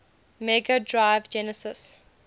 mega drive genesis